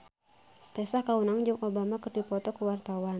Tessa Kaunang jeung Obama keur dipoto ku wartawan